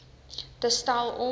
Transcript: te stel om